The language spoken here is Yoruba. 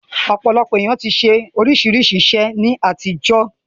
Ọ̀pọ̀lọpọ̀ èèyàn ti ṣe oríṣiríṣi iṣẹ́ ní àtijọ́